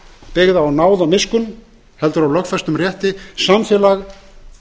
byggð á náð og miskunn heldur á lögfestum rétti samfélag